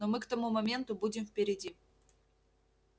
но мы к тому моменту будем впереди